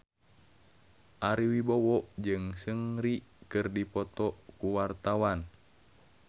Ari Wibowo jeung Seungri keur dipoto ku wartawan